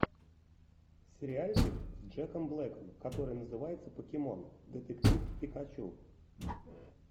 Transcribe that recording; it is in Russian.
сериальчик с джеком блэком который называется покемон детектив пикачу